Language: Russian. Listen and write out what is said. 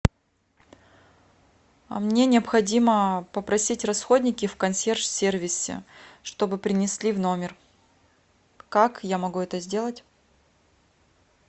мне необходимо попросить расходники в консьерж сервисе чтобы принесли в номер как я могу это сделать